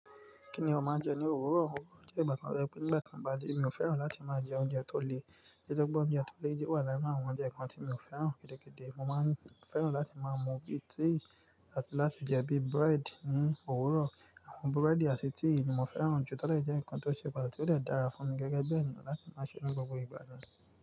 Kí ni a máa ń jẹ ní òwúrọ̀? Òwúrọ̀ jẹ́ ìgbà tí wọ́n sọ pé nígbà tí ń ba dé, mi ò fẹ́ràn láti máa jẹ oúnjẹ tó le, nitoripe oúnjẹ tó le wà láàára àwọn oúnjẹ kan tí mi ò fẹ́ràn. Gìdìgìdì, mo máa ń fẹ́ràn láti máa mu bíi tea àti láti jẹ bíi bread ní òwúrọ̀. Àwọn búrẹ́dì àti tea ni mo fẹ́ràn jù to lọ jẹ́ nǹkan tó ṣe pàtàkì tó de dára fún mi gẹ́gẹ́ bí ẹniyan láti máa ṣe ni gbogbo ìgbà mi.